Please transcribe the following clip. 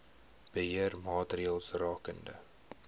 beheer maatreëls rakende